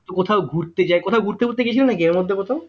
কোথাও ঘুরতে যাই কোথাও ঘুরতে মুরতে গেছিলে নাকি এর মধ্যে কোথাও